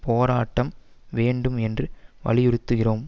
போராட்டம் வேண்டும் என்று வலியுறுத்துகிறோம்